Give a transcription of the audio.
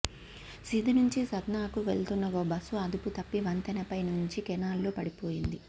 సిధి నుంచి సత్నాకు వెళ్తున్న ఓ బస్సు అదుపు తప్పి వంతెనపై నుంచి కెనాల్లో పడిపోయింది